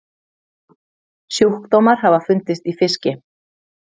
Sjúkdómar hafa fundist í fiski.